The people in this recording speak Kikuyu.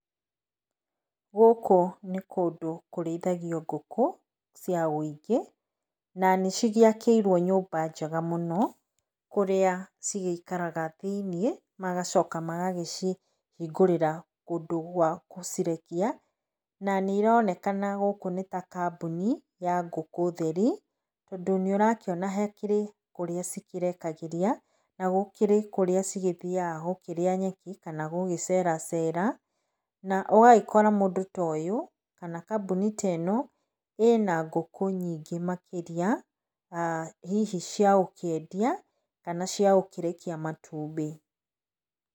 Gũkũ nĩ kũndũ kũrĩithagio ngũkũ cia ũingĩ na nĩ cigĩakĩirwo nyũmba njega mũno, kũrĩa ci gĩikaraga thĩiniĩ, magacoka magagĩcihingũrĩra ũndũ wa gũcirekia na nĩironekana gũkũ nĩ ta kambuni ya ngũkũ, tondũ nĩũrakĩona hakĩrĩ kũrĩa ci kĩrekagĩria na ũkĩrĩ kũrĩa cigĩthiaga gũkĩrĩa nyeki kana gũgĩcera cera na ũgagikora mũndũ ta ũyũ, kana kambuni ta ĩno, ĩna ngũkũ nyingĩ makĩrĩa na hihi cia gũkĩendia kana cia gũkĩrekia matumbĩ.